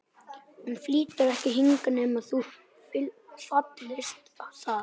Hann flytur ekki hingað nema þú fallist á það.